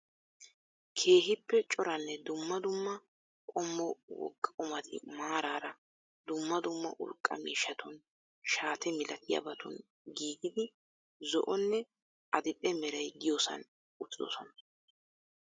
Keehippe coranne dumma dumma qommo wogaa qummati maarara dumma dumma urqqa miishshatun shaate malatiyaabatun giigidi zo"onne adidhe meeray diyoosan uttidosona.